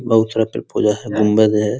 बहुत सारा पेड़-पौधा है गुंबद है।